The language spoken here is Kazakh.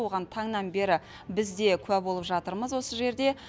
оған таңнан бері біз де куә болып жатырмыз осы жерде